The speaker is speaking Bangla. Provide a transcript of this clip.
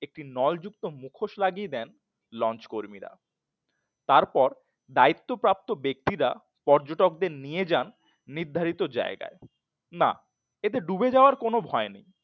একটি নল যুক্ত মুখোশ লাগিয়ে দেন লঞ্চ কর্মীরা তারপর দায়িত্ব প্রাপ্ত ব্যক্তিরা পর্যটকদের নিয়ে যান নির্ধারিত জায়গায় না এতে ডুবে যাওয়ার কোনো ভয় নেই।